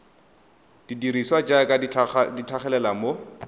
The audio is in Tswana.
dirisiwa jaaka di tlhagelela mo